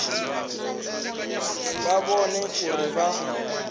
vha vhone uri a vha